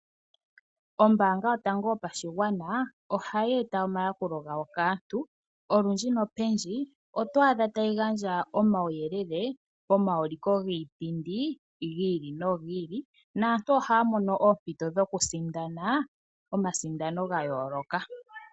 Ombaanga yotango yopashigwana ohayi eta omayakulo gayo kaantu. Olundji nopendji oto adha tayi gandja omauyelele pomauliko giipindi gi ili nogi ili naantu ohaya mono oompito dhokusindana omasindano ga yooloka.